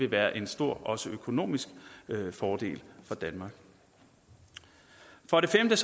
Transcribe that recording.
være en stor økonomisk fordel for danmark for det femte